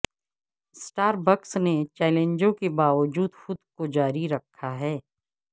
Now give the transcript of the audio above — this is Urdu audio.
اسٹاربکس نے چیلنجوں کے باوجود خود کو جاری رکھا ہے